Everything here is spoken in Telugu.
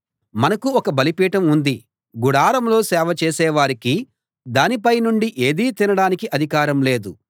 మనకు ఒక బలిపీఠం ఉంది గుడారంలో సేవ చేసే వారికి దానిపై నుండి ఏదీ తినడానికి అధికారం లేదు